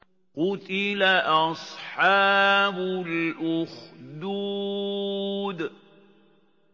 قُتِلَ أَصْحَابُ الْأُخْدُودِ